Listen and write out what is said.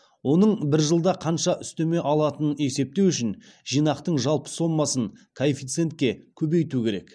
оның бір жылда қанша үстеме алатынын есептеу үшін жинақтың жалпы сомасын коэффициентке көбейту керек